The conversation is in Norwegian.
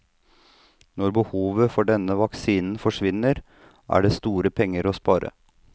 Når behovet for denne vaksinen forsvinner, er det store penger å spare.